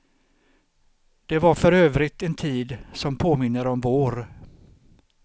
Det var för övrigt en tid som påminner om vår.